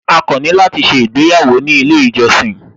A kàn ní láti ṣé ìgbéyàwó ní ilé ìjọsìn